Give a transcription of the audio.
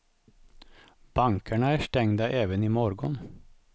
Bankerna är stängda även i morgon.